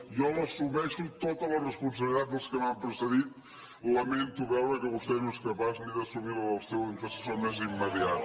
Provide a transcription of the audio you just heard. jo assumeixo tota la responsabilitat dels que m’han precedit lamento veure que vostè no és capaç ni d’assumir la del seu antecessor més immediat